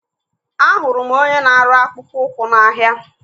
Ahụrụ m onye na-arụ akpụkpọ ụkwụ n'ahia.